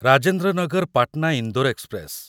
Rajendra Nagar Patna Indore express